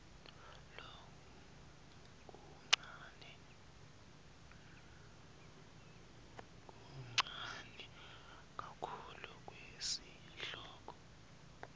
lokuncane kakhulu kwesihloko